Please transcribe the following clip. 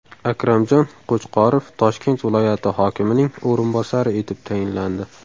Akramjon Qo‘chqorov Toshkent viloyati hokimining o‘rinbosari etib tayinlandi.